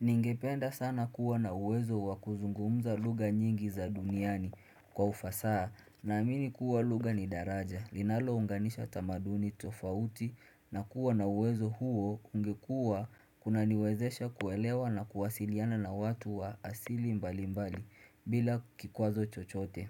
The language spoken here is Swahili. Ningependa sana kuwa na uwezo wakuzungumza lugha nyingi za duniani kwa ufasaha naamini kuwa lugha ni daraja linalounganisha tamaduni tofauti na kuwa na uwezo huo ungekuwa kunaniwezesha kuelewa na kuwasiliana na watu wa asili mbali mbali bila kikwazo chochote